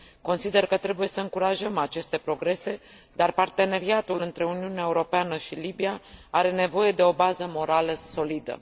Consider că trebuie să încurajăm aceste progrese, dar parteneriatul între Uniunea Europeană și Libia are nevoie de o bază morală solidă.